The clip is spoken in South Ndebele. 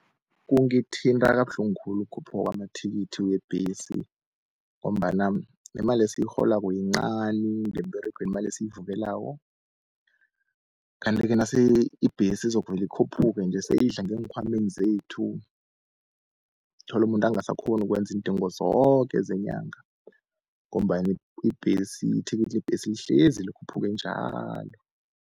Kungithinta kabuhlungu khulu ukukhuphuka kwamathikithi webhesi, ngombana nemali esiyirholako yincani ngemberegweni imali esiyivukelako. Kanti-ke nase ibhesi izokuvele ikhuphuke nje seyidla ngeenkhwameni zethu, uthola umuntu angasakghoni ukwenza iindingo zoke zenyanga, ngombana ibhesi ithikithi lebhesi lihlezi likhuphuke njalo.